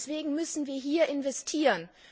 Deswegen müssen wir hier investieren.